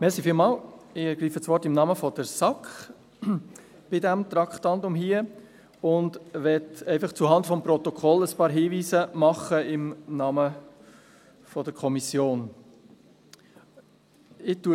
Zu diesem Traktandum ergreife ich das Wort im Namen der SAK und möchte zuhanden des Protokolls einfach ein paar Hinweise im Namen der Kommission anbringen.